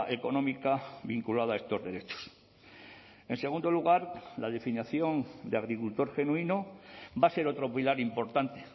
económica vinculada a estos derechos en segundo lugar la definición de agricultor genuino va a ser otro pilar importante